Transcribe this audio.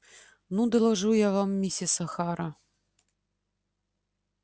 ну доложу я вам миссис охара